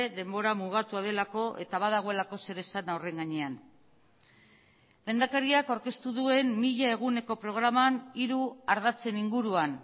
denbora mugatua delako eta badagoelako zeresana horren gainean lehendakariak aurkeztu duen mila eguneko programan hiru ardatzen inguruan